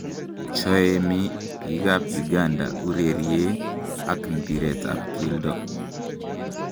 Choemi biik ab Uganda urerie ak mpiret ab kelto.